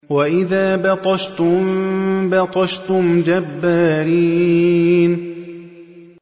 وَإِذَا بَطَشْتُم بَطَشْتُمْ جَبَّارِينَ